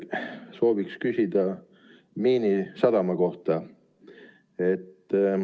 Sooviks küsida Miinisadama kohta.